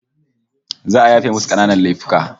Za'a yafewa masu kananan laifuka